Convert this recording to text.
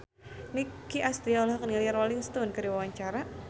Nicky Astria olohok ningali Rolling Stone keur diwawancara